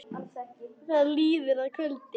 Það líður að kvöldi.